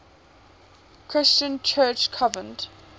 christian church convened